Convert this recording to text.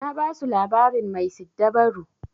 Na basu labarin mai siddabaru.